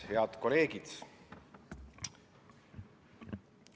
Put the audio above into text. Head kolleegid!